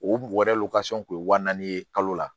O kun ye wa naani ye kalo la